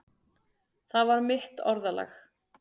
Það var mitt orðalag.